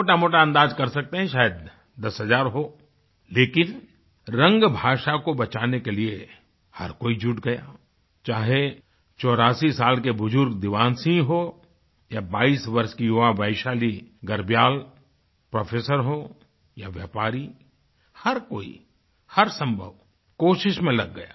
मोटामोटा अंदाज़ कर सकते हैं कि शायद दस हज़ार हो लेकिन रंग भाषा को बचाने के लिए हर कोई जुट गया चाहे चौरासी साल के बुज़ुर्ग दीवान सिंह हों या बाईस वर्ष की युवा वैशाली गर्ब्याल प्रोफेसर हों या व्यापारी हर कोईहर संभव कोशिश में लग गया